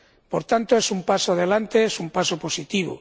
Por tanto, es un paso adelante, es un paso positivo.